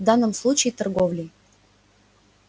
в данном случае торговлей